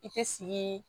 I tɛ siii